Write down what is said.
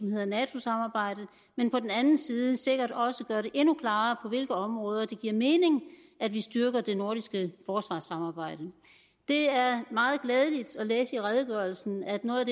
hedder nato samarbejdet men på den anden side sikkert også gøre det endnu klarere på hvilke områder det giver mening at vi styrker det nordiske forsvarssamarbejde det er meget glædeligt at læse i redegørelsen at noget